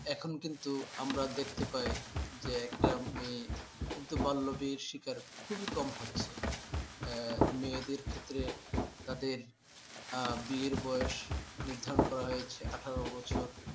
এখন কিন্তু আমরা দেখতে পাই যে একটা মেয়ে কিন্তু বাল্যবিবাহর শিকার খুবই কম হচ্ছে। আহ মেয়েদের ক্ষেত্রে আহ তাঁদের বিয়ের বয়স নির্ধারণ করা হয়েছে আঠার বছর।